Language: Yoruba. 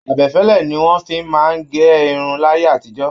Abẹfẹ́lẹ́ ní wọn fí máa n gé irun láyé àtijọ́.